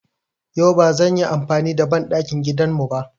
Yau ba zan yi amfani da banɗakin gidan mu ba.